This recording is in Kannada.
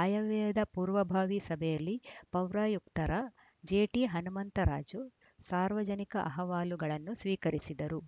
ಆಯವ್ಯಯದ ಪೂರ್ವಭಾವಿ ಸಭೆಯಲ್ಲಿ ಪೌರಾಯುಕ್ತರ ಜೆಟಿಹನುಮಂತರಾಜು ಸಾರ್ವಜನಿಕ ಅಹವಾಲುಗಳನ್ನು ಸ್ವೀಕರಿಸಿದರು